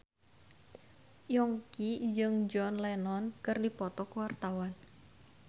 Yongki jeung John Lennon keur dipoto ku wartawan